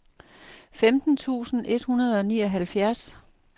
femten tusind et hundrede og nioghalvfjerds